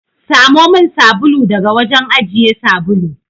Samo min sabulu daga wajen ajiye sabulu.